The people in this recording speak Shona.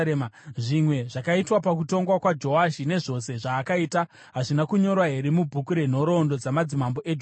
Zvimwe zvakaitwa pakutonga kwaJoashi, nezvose zvaakaita, hazvina kunyorwa here mubhuku renhoroondo dzamadzimambo eJudha?